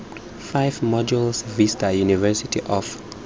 five modules vista university of